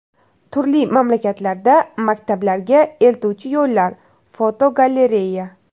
Turli mamlakatlarda maktablarga eltuvchi yo‘llar (fotogalereya).